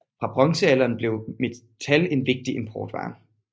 Fra bronzealderen blev metal en vigtig importvare